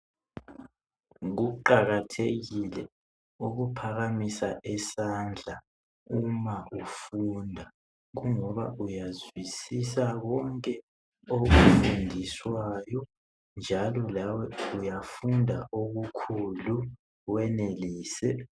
Kuqakathekile ukuphakamisa isandla uma ufunda kungoba uyazwisisa konke okufundiswayo njalo lawe uyafunda okukhulu wenelise